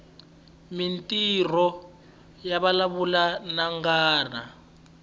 mintirho yavalavula nwananga